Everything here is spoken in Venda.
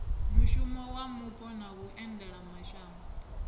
muhasho wa mupo na vhuendelamashango